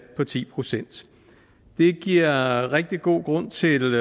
på ti procent det giver rigtig god grund til